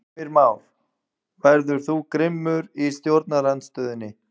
Heimir Már: Verður þú grimmur í stjórnarandstöðunni?